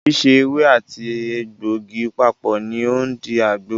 Síse ewé àti àti egbògi papọ̀ ní o ń di àgbo.